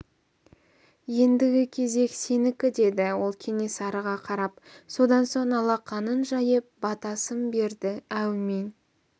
ендігі кезек сенікі деді ол кенесарыға қарап содан соң алақанын жайып батасын берді әумин